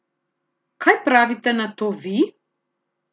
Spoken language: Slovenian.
Kaj pravite na to vi?